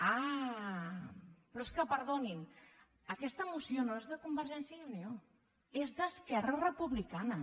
ah però és que perdonin aquesta moció no és de convergència i unió és d’esquerra republicana